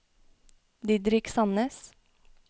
Didrik Sannes